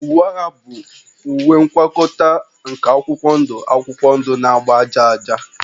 Uwe agha bụ ngwakọta nke akwụkwọ ndụ akwụkwọ ndụ na agba aja aja